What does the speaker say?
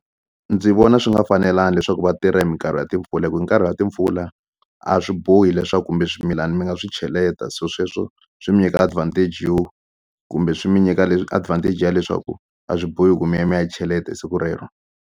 Ndzi vona swi nga fanelanga leswaku va tirha hi minkarhi ya timpfula hi ku hi nkarhi wa timpfula a swi bohi leswaku kumbe swimilani mi nga swi cheleta se sweswo swi mi nyika advantage yo kumbe swi mi nyika leswi advantage yo leswaku a swi bohi ku mi ya mi ya cheleta hi siku rero.